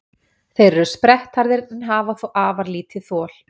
Þeir eru sprettharðir en hafa þó afar lítið þol.